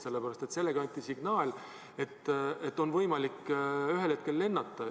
Sellepärast et sellega anti signaal, et ühel hetkel on võimalik lennata.